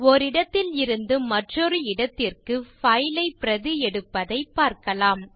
ஓரிடத்தில் இருந்து மற்றொரு இடத்திற்கு பைல் ஐ பிரதி எடுப்பதைப் பார்க்கலாம்